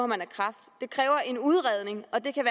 man kræft det kræver en udredning og det kan